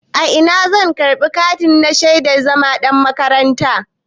A ina zan karɓi katina na shaidan zama ɗan makaranta?